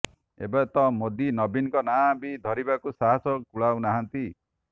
ଏବେ ତ ମୋଦୀ ନବୀନଙ୍କ ନାଁ ବି ଧରିବାକୁ ସାହସ କୁଳାଉ ନାହାନ୍ତି